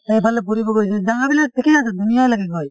সেই ফালে ফুৰিব গৈছোঁ জাগা বিলাক ঠিকে আছে ধুনীয়াই লাগে গৈ